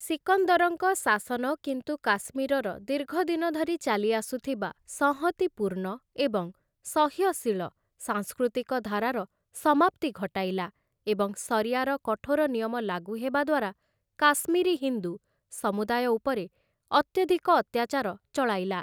ସିକନ୍ଦରଙ୍କ ଶାସନ କିନ୍ତୁ କାଶ୍ମୀରର ଦୀର୍ଘ ଦିନ ଧରି ଚାଲିଆସୁଥିବା ସଂହତି ପୂର୍ଣ୍ଣ ଏବଂ ସହ୍ୟଶୀଳ ସାଂସ୍କୃତିକ ଧାରାର ସମାପ୍ତି ଘଟାଇଲା, ଏବଂ ଶରିୟାର କଠୋର ନିୟମ ଲାଗୁ ହେବା ଦ୍ୱାରା କାଶ୍ମୀରୀ ହିନ୍ଦୁ ସମୁଦାୟ ଉପରେ ଅତ୍ୟଧିକ ଅତ୍ୟାଚାର ଚଳାଇଲା ।